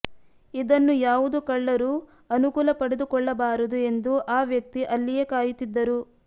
ಇದನ್ನು ಯಾವುದು ಕಳ್ಳರು ಅನುಕೂಲ ಪಡೆದುಕೊಳ್ಳಬಾರದು ಎಂದು ಆ ವ್ಯಕ್ತಿ ಅಲ್ಲಿಯೇ ಕಾಯುತ್ತಿದ್ದರು